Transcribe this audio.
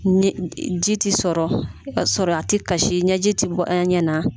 Ji tɛ sɔrɔ ka sɔrɔ a tɛ kasi ɲɛji tɛ bɔ a ɲɛ na